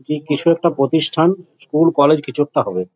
যে কিছু একটা প্রতিষ্টান স্কুল কলেজ কিছু একটা হবে।